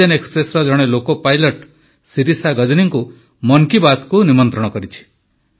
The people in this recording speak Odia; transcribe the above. ଅକ୍ସିଜେନ ଏକ୍ସପ୍ରେସର ଜଣେ ଲୋକୋପାଇଲଟ୍ ଶିରିଷା ଗଜନୀଙ୍କୁ ମନ୍ କି ବାତକୁ ନିମନ୍ତ୍ରଣ କରିଛି